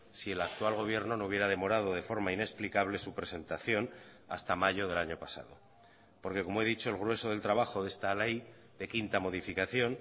si el actual gobierno no hubiera demorado de forma inexplicable su presentación hasta mayo del año pasado porque como he dicho el grueso del trabajo de esta ley de quinta modificación